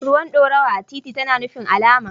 Ruwan dorawa a titi tana nufin alama.